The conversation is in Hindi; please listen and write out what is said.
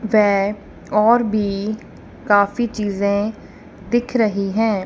वै और भी काफी चीजें दिख रही है।